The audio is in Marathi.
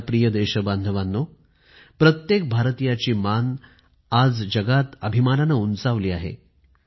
माझ्या प्रिय देशबांधवांनो प्रत्येक भारतीयाची मान आज जगात अभिमानानं उंचावली आहे